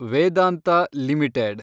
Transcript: Vedanta limited